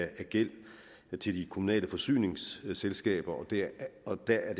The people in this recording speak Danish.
af gæld til de kommunale forsyningsselskaber og der er